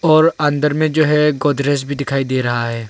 और अंदर में जो है गोदरेज भी दिखाई दे रहा है।